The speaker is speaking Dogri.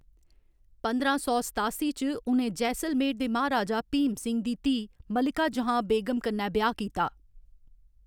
पंदरां सौ सतासी च, उ'नें जैसलमेर दे म्हाराजा भीम सिंह दी धीऽ मलिका जहां बेगम कन्नै ब्याह्‌‌ कीता।